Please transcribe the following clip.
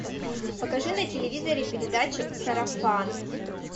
покажи на телевизоре передачу сарафан